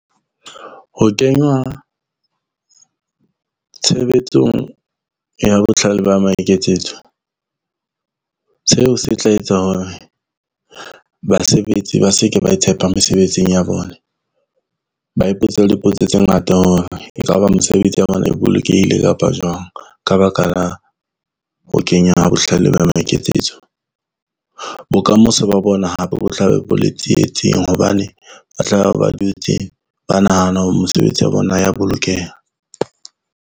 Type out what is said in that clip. Ho kenywa tshebetsong ya botlhale ba maiketsetso seo se tla etsa hore basebetsi ba seke ba e tshepa mesebetsing ya bona. Ba ipotse dipotso tse ngata hore ekaba mesebetsi ya bona e bolokehile kapa jwang. Ka baka la ho kenya bohlale ba maiketsetso, bokamoso ba bona ha bo tlabe bo le tsietsing. Hobane ba tla ba dutse ba nahana hore mosebetsi ya bona ha ya bolokeha.